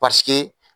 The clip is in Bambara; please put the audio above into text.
Paseke